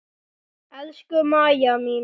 Elsku Mæja mín.